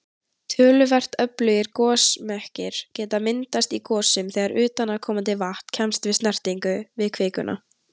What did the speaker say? Töluvert öflugir gosmekkir geta myndast í gosum þegar utanaðkomandi vatn kemst í snertingu við kvikuna.